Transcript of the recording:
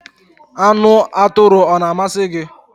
Anu aturu o na-amasi gi?